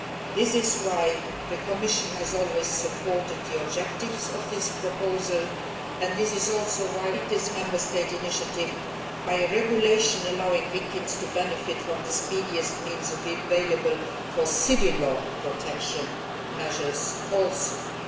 This is why the Commission has always supported the objectives of this proposal and why we have completed this Member State initiative by legislation allowing victims to benefit from the speediest means available for civil law protection measures as well.